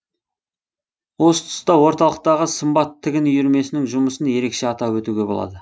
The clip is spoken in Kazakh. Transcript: осы тұста орталықтағы сымбат тігін үйірмесінің жұмысын ерекше атап өтуге болады